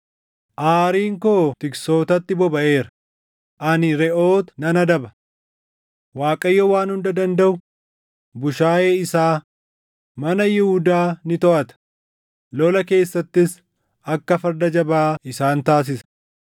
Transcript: “Aariin koo tiksootatti bobaʼeera; ani reʼoota nan adaba; Waaqayyo Waan Hunda Dandaʼu bushaayee isaa, mana Yihuudaa ni toʼata; lola keessattis akka farda jabaa isaan taasisa.